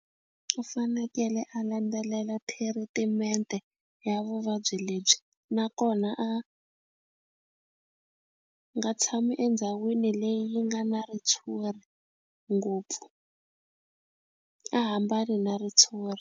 U fanekele a landzelela thiritimente ya vuvabyi lebyi nakona a nga tshami endhawini leyi yi nga na ritshuri ngopfu a hambani na ritshuri.